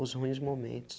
os ruins momentos.